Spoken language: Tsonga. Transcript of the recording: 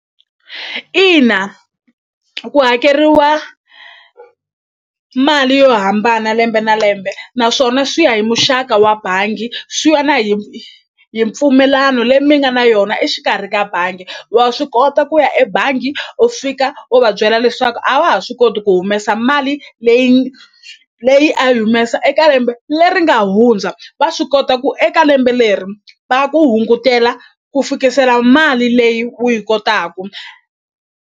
Ina ku hakeriwa mali yo hambana lembe na lembe naswona swi ya hi muxaka wa bangi swi ya na hi hi mpfumelano leyi mi nga na yona exikarhi ka bangi wa swi kota ku ya e bangi u fika u va byela leswaku a wa ha swi koti ku humesa mali leyi leyi a yi humesa eka lembe leri nga hundza va swi kota ku eka lembe leri va ku hungutela ku fikisela mali leyi u yi kotaku.